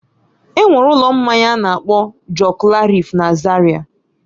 Enwere ụlọ mmanya a na-akpọ Joklarif na Zaria